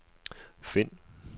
find